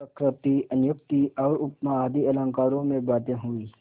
वक्रोक्ति अन्योक्ति और उपमा आदि अलंकारों में बातें हुईं